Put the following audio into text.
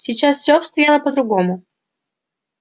сейчас все обстояло по-другому